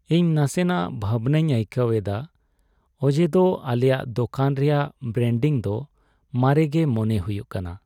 ᱤᱧ ᱱᱟᱥᱮᱱᱟᱜ ᱵᱷᱟᱵᱽᱱᱟᱧ ᱟᱹᱭᱠᱟᱹᱣ ᱮᱫᱟ ᱚᱡᱮᱫᱚ ᱟᱞᱮᱭᱟᱜ ᱫᱳᱠᱟᱱ ᱨᱮᱭᱟᱜ ᱵᱨᱮᱱᱰᱤᱝ ᱫᱚ ᱢᱟᱨᱮ ᱜᱮ ᱢᱚᱱᱮ ᱦᱩᱭᱩᱜ ᱠᱟᱱᱟ ᱾